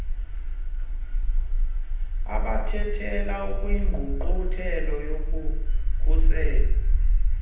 abathelelani kwingqungquthela yokukhulisa